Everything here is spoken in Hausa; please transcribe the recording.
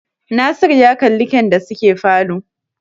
Nasiru ya kalli kyan da suke falo